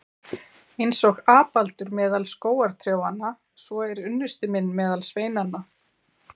Eins og apaldur meðal skógartrjánna, svo er unnusti minn meðal sveinanna.